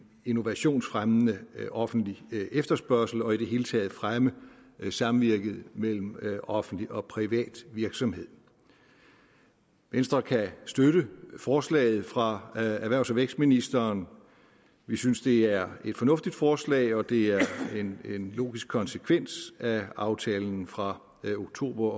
innovationsfremmende offentlig efterspørgsel og i det hele taget fremme samvirket mellem offentlig og privat virksomhed venstre kan støtte forslaget fra erhvervs og vækstministeren vi synes det er et fornuftigt forslag og det er en logisk konsekvens af aftalen fra oktober